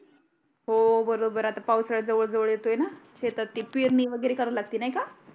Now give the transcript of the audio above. हो बरोबर आहे आता पावसाळा जवळ जवळ येतोय ना शेतात ते पेरणी वगरे करा लागते नाही का